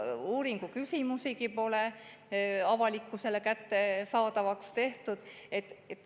Selle uuringu küsimusigi pole avalikkusele kättesaadavaks tehtud.